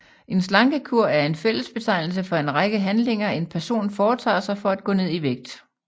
En slankekur er en fællesbetegnelse for en række handlinger en person foretager sig for at gå ned i vægt